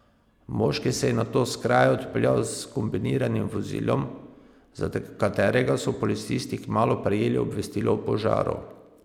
Moški se je nato s kraja odpeljal s kombiniranim vozilom, za katerega so policisti kmalu prejeli obvestilo o požaru.